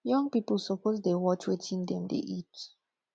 young people suppose to dey watch wetin dem dey eat